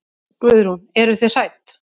Guðrún: Eruð þið hrædd?